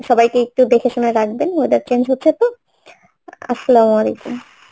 সবাইকে একটু দেখেশুনে রাখবেন weather change হচ্ছে তো Arbi